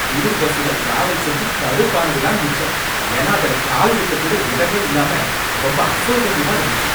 Tour பஸ்ல travel செஞ்சு கடுப்பானது தான் மிச்சம், ஏன்னா அதுல கால் வைக்க கூட இடமே இல்லாம ரொம்ப அசௌகரியமாக இருந்துச்சி.